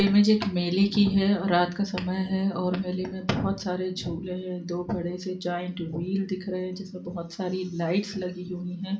Image एक मेले की है और रात का समय है और मेले में बहुत सारे झूले हैं दो बड़े से जॉइंट व्हील दिख रहे हैं जिसमें बहुत सारी लाइट्स लगी हुई है।